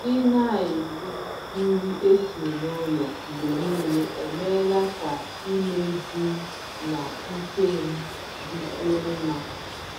Ị na-eri nri esi n'ụlọ mgbe niile emeela ka imeju m na ike m dịkwuo mma.